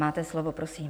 Máte slovo, prosím.